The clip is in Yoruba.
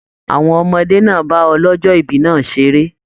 Àwọn ọmọdé náà bá ọlọjọ ibí náà seré.